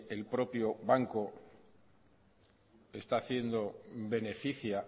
el propio banco está haciendo beneficia